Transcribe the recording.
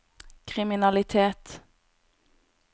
kriminalitet